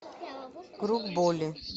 круг боли